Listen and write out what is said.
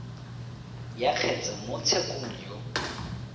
ya kgetse mo tshekong yo